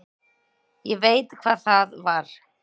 Ég veit hvað það var.